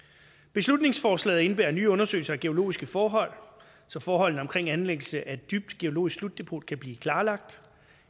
beslutningsforslaget indebærer nye undersøgelser af geologiske forhold så forholdene omkring anlæggelse af et dybt geologisk slutdepot kan blive klarlagt